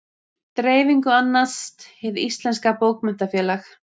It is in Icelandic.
Dreifingu annast Hið íslenska bókmenntafélag.